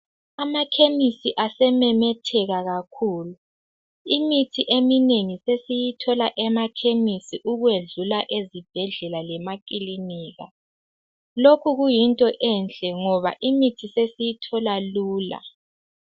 Amakhemisi asememetheka kakhulu, imithi eminengi sesiyithola emakhemisi ukwedlula ezibhedlela lamakilinika, lokhu kuyinto enhle ngoba imithi sesiyithola lula.